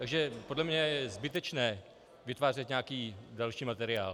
Takže podle mne je zbytečné vytvářet nějaký další materiál.